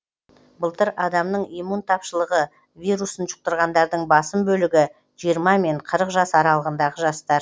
былтыр адамның иммун тапшылығы вирусын жұқтырғандардың басым бөлігі жиырма мен қырық жас аралығындағы жастар